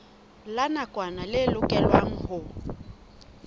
la nakwana le lokelwang ho